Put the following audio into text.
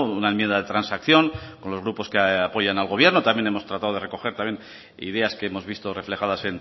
una enmienda de transacción con los grupos que apoyan al gobierno también hemos tratado de recoger también ideas que hemos visto reflejadas